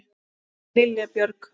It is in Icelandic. Þín Lilja Björg.